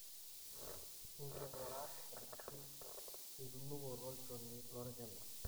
Enkingurat ashu enunukoto olchoni lolkina.